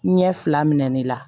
Ɲɛ fila minɛ ne la